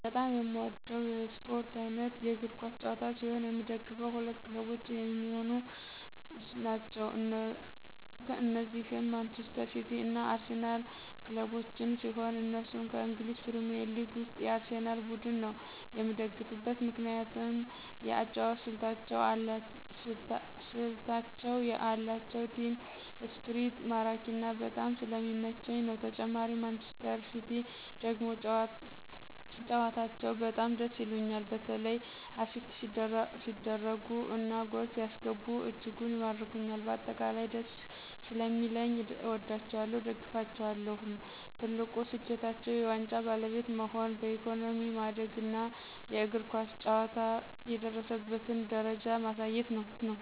በጣም የምወደው የስፖርት አይነት የእግር ኳስ ጨዋታ ሲሆን የምደግፈው ሁለት ክለቦች የሚሆኑ ናቸው እነዚህም ማንጅስተር ሲቲ እና አርሲናል ክለቦችን ሲሆን እነሱም ከእንግሊዝ ፕሪሜርሊግ ውስጥ የአርሴናል ቡድን ነው የምደግፍበት ትልቁ ምክንያት የአጨዋወት ስልታቸው የአላቸው ቲም እስፕሪት ማራኪና በጣም ስለሚመቸኝ ነው ተጨማሪ ማንጅስተር ሲቲ ደግሞ ጨዋታቸው በጣም ደስ ይሉኞል በተላ አሲስት ሲደርጉ እና ጎል ሲያስገቡ እጅጉን ይማርኩኞል በአጠቃላይ ደስ ሰለሚለኝ አወዳቸዋለሁ እደግፋቸዋለሁም። ትልቁ ስኬታቸው የዋንጫ ባለቤት መሆን በኢኮኖሚ ማደግና የእግር ኳስ ጨዋታ የደረሰበትን ደረጃ ማሳየት ነው።